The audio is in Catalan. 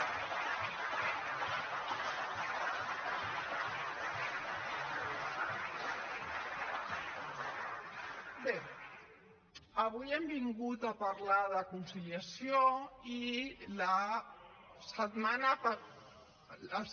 bé avui hem vingut a parlar de conciliació i la setmana passada